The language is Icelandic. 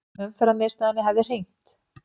Umferðarmiðstöðinni hefði hringt.